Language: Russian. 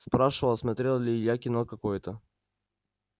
спрашивал смотрел ли илья кино какое-то